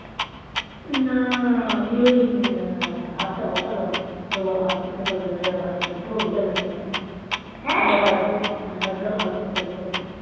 না আমি ওই উম ভাতটা বসালাম তোর বাবা ভাত খেতে পারবে না যা ভাত হয়েছে পুরো গলে গেছে ভাত তোর বাবা এক গাল ও এক গাল ও ভাত খেতে পারবে না